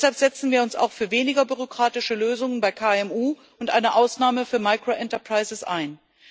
Deshalb setzen wir uns auch für weniger bürokratische Lösungen bei KMU und eine Ausnahme für micro enterprises ein.